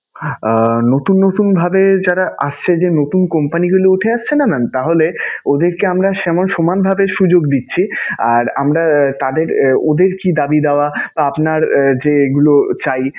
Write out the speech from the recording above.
আহ নতুন নতুন ভাবে যারা আসছে, যে নতুন company গুলো উঠে আসছে না mam তাহলে ওদেরকে আমরা সেমান~ সমানভাবে সুযোগ দিচ্ছি. আর আমরা তাদের~ ওদের কি দাবী দাওয়া বা আপনার যে এইগুলো চাই